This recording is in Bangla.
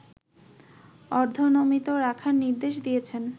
অর্ধনমিত রাখার নির্দেশ দিয়েছেন